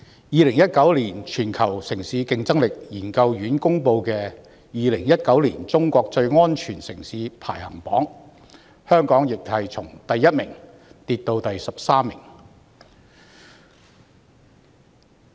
2019年全球城市競爭力研究院公布的2019年中國最安全城市排行榜，香港亦從第一位跌至第十三位。